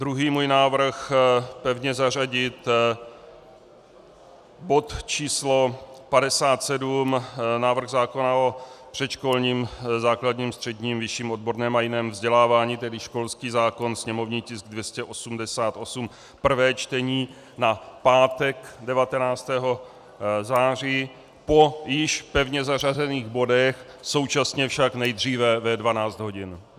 Druhý můj návrh - pevně zařadit bod číslo 57, návrh zákona o předškolním, základním, středním, vyšším odborném a jiném vzdělávání, tedy školský zákon, sněmovní tisk 288, prvé čtení, na pátek 19. září po již pevně zařazených bodech, současně však nejdříve ve 12 hodin.